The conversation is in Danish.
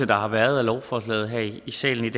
der har været af lovforslaget her i salen